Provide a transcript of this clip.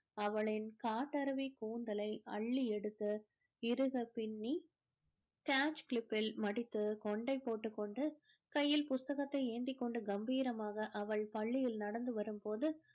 அவளின் காட்டருவி கூந்தலை அள்ளி எடுத்து இருக பிண்ணி catch கிளிப்பில் மடித்து கொண்டை போட்டுக் கொண்டு கையில புத்தகத்தை ஏந்தி கொண்டு கம்பீரமாக அவள் பள்ளியில் நடந்து வரும் போது